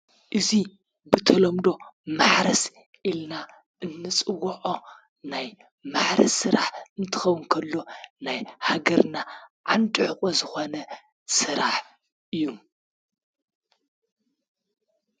እዙ ብተሎምዶ ማኅረስ ኢልና እምስዎዖ ናይ ማኅረስ ሥራሕ እንትኸው እንከሎ ናይ ሃገርና ዓንድሕቊ ዝኾነ ሥራሕ እዩ።